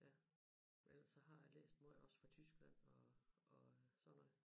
Ja for ellers så har jeg læst både også fra Tyskland og og sådan noget